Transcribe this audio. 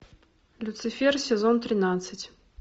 люцифер сезон тринадцать